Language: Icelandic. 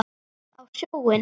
Á sjóinn?